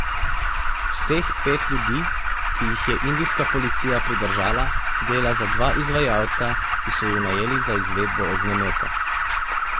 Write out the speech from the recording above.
Vseh pet ljudi, ki jih je indijska policija pridržala, dela za dva izvajalca, ki so ju najeli za izvedbo ognjemeta.